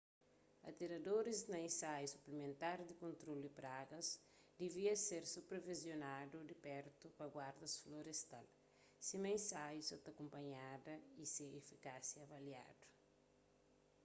atiradoris na insaiu suplimentar di kontrolu di pragas divia ser supervisionadu di pertu pa guardas florestal sima insaiu sa ta kunpanhada y se efikásia avaliadu